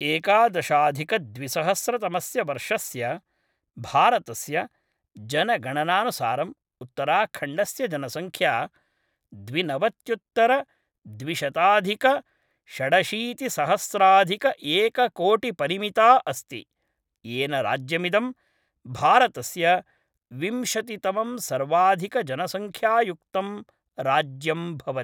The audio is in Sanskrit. एकादशाधिकद्विसहस्रतमस्य वर्षस्य भारतस्य जनगणनानुसारम् उत्तराखण्डस्य जनङ्ख्या द्विनवत्युत्तरद्विशताधिकषडशीतिसहस्राधिकएककोटिपरिमिता अस्ति, येन राज्यमिदं भारतस्य विंशतितमं सर्वाधिकजनसङ्ख्यायुक्तं राज्यं भवति।